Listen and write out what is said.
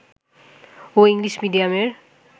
ও English মিডিয়ামের